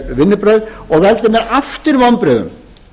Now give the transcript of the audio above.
vinnubrögð og veldur mér aftur vonbrigðum